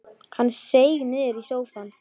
Hann seig niður í sófann.